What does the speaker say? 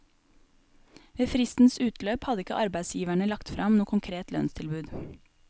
Ved fristens utløp hadde ikke arbeidsgiverne lagt frem noe konkret lønnstilbud.